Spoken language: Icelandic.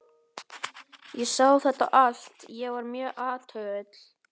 Ég sá þetta allt- ég var mjög athugull.